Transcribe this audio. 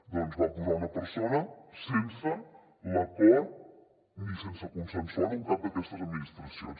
doncs hi van posar una persona sense l’acord ni sense consensuar ho amb cap d’aquestes administracions